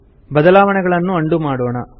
ಬದಲಾವಣೆಗಳನ್ನು ಅಂಡು ಮಾಡೋಣ